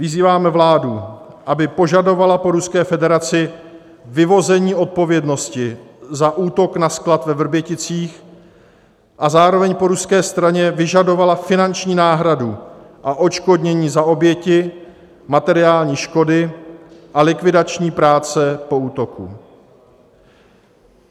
Vyzýváme vládu, aby požadovala po Ruské federaci vyvození odpovědnosti za útok na sklad ve Vrběticích a zároveň po ruské straně vyžadovala finanční náhradu a odškodnění za oběti, materiální škody a likvidační práce po útoku.